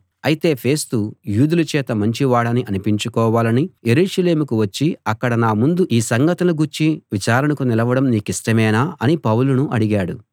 అయితే ఫేస్తు యూదుల చేత మంచి వాడని అనిపించుకోవాలని యెరూషలేముకు వచ్చి అక్కడ నా ముందు ఈ సంగతులను గూర్చి విచారణకు నిలవడం నీకిష్టమేనా అని పౌలును అడిగాడు